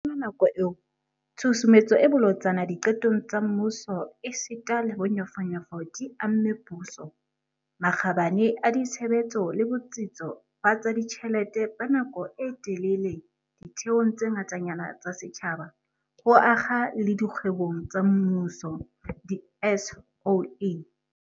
Ka yona nako eo, tshusumetso e bolotsana diqetong tsa mmuso esita le bonyofonyofo di amme puso, makgabane a ditshebetso le botsitso ba tsa ditjhelete ba nako e telele ditheong tse ngatanyana tsa setjhaba, ho akga le dikgwebong tsa mmuso, di-SOE.